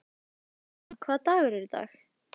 Lillian, hvaða dagur er í dag?